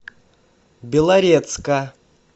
белорецка